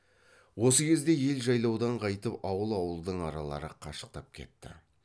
осы кезде ел жайлаудан қайтып ауыл ауылдың аралары қашықтап кетті